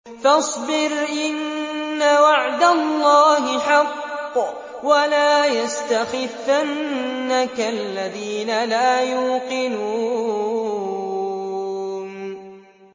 فَاصْبِرْ إِنَّ وَعْدَ اللَّهِ حَقٌّ ۖ وَلَا يَسْتَخِفَّنَّكَ الَّذِينَ لَا يُوقِنُونَ